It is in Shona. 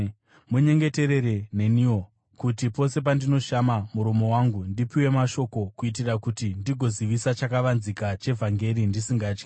Munyengeterere neniwo, kuti pose pandinoshama muromo wangu, ndipiwe mashoko kuitira kuti ndigozivisa chakavanzika chevhangeri ndisingatyi,